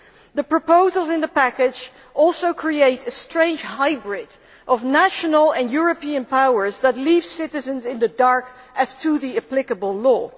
The proposals in the package also create a strange hybrid of national and European powers that leave citizens in the dark as to the applicable law.